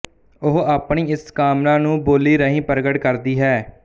ਉਹ ਆਪਣੀ ਇਸ ਕਾਮਨਾ ਨੂੰ ਬੋਲੀ ਰਾਹੀਂ ਪ੍ਰਗਟ ਕਰਦੀ ਹੈ